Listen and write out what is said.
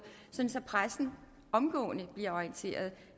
sådan at pressen omgående bliver orienteret